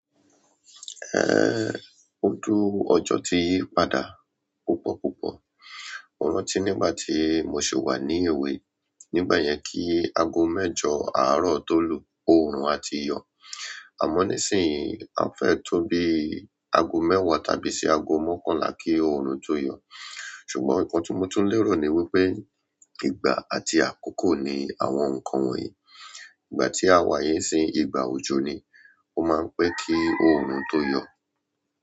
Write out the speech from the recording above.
Eh, ojú ọjọ́ ti yí padà púpọ̀púpọ̀. Mo rántí nígbà tí mo ṣì wà ní èwe, nígbà yẹn kí aago mẹ́jọ àárọ̀ tó lù, oòrùn a ti yọ̀. Àmọ́ nísìnyí, a fẹ́ tó bí aago mẹ́wàá tàbí sí ago mọ́kànlá kí oòrùn tó yọ. Ṣùgbọ́n nǹkan tuntun lérò ni wípé ìgbà àti àkókò ni àwọn nǹkan wọ̀nyí. Ìgbà tí a wà yí sì ìgbà òjò ni. Ó máa ń pẹ́ kí oòrùn tó yọ̀.